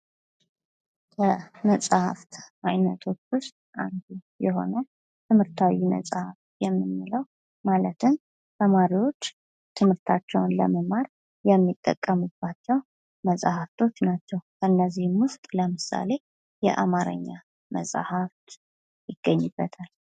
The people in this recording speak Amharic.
ከመፅሐፍት አይነቶች ውስጥ አንዱ የሆነው ትምህርታዊ መፅሐፍ የምንለው ማለትም ተማሪዎች ትምህርታቸውን ለመማር የሚጠቀሙባቸው መፅሐፍቶች ናቸው ። ከእነዚህም ውስጥ ለምሳሌ የአማረኛ መፅሐፍ ይገኝበታል ።